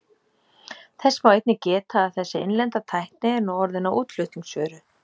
Þess má einnig geta að þessi innlenda tækni er nú orðin að útflutningsvöru.